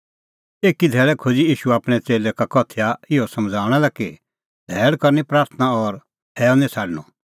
एकी धैल़ै खोज़अ ईशू आपणैं च़ेल्लै का उदाहरण इहअ समझ़ाऊंणा लै कि धैल़ करनी प्राथणां और हैअ निं छ़ाडणअ